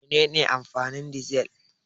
Mene ne amfanin dizal?